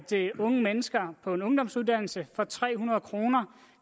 unge mennesker på en ungdomsuddannelse for tre hundrede kroner